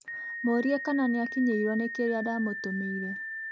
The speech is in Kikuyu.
Mũũrie kana nĩakinyĩirwo nĩ kĩrĩa ndamũtũmũire